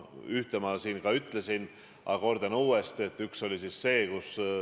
Ühte ma siin juba mainisin, aga kordan uuesti.